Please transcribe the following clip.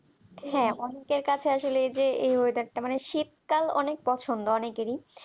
হ্যাঁ অনিকের কাছে আসলে এই যে মানে শীতকাল অনেক পছন্দ অনেকেরই